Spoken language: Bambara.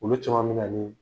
Olu caman bɛ na ni